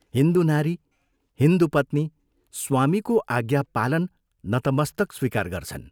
हिन्दू नारी, हिन्दू पत्नी, स्वामीको आज्ञापालन नतमस्तक स्वीकार गर्छन्।